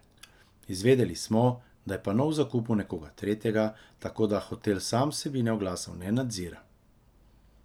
Izvedeli smo, da je pano v zakupu nekoga tretjega, tako da hotel sam vsebine oglasov ne nadzira.